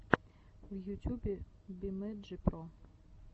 в ютюбе бимэнджи про